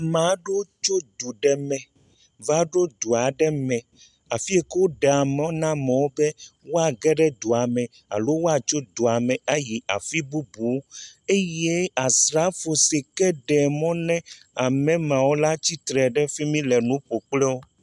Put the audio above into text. Maa ɖewo tso du ɖe me va ɖo du ɖe me afi yi ke woɖea mɔ na amewo be woage ɖe dua me alo woatso dua me ayi afi bubu eye Asrafo si ke ɖea mɔ na ame mawo la tsi tre ɖe fi mi le nu ƒo kpli wo.